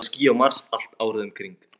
Já, það eru ský á Mars, allt árið um kring.